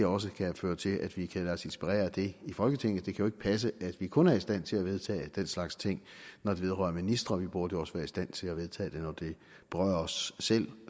også kan føre til at vi kan lade os inspirere af det i folketinget jo ikke passe at vi kun er i stand til at vedtage den slags ting når det vedrører ministre vi burde også være i stand til at vedtage det når det berører os selv